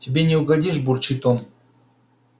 тебе не угодишь бурчит он